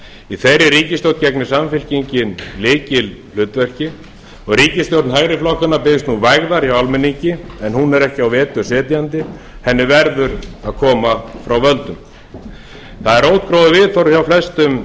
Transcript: í þeirri ríkisstjórn gegnir samfylkingin lykilhlutverki og ríkisstjórn hægri flokkanna biðst nú vægðar hjá almenningi en hún er ekki á vetur setjandi henni verður að koma frá völdum það er viðhorf hjá flestum